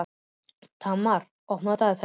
Tamar, opnaðu dagatalið mitt.